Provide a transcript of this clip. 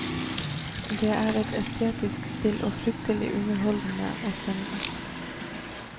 Det er et estetisk spill, og fryktelig underholdende og spennende.